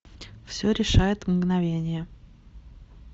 все решает мгновение